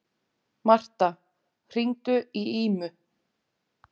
Martha, hringdu í Ímu.